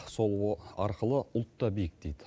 сол арқылы ұлт та биіктейді